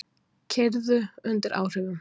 Keyrðu undir áhrifum